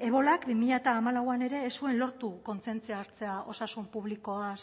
ebolak bi mila hamalauan ere ez zuen lortu kontzientzia hartzea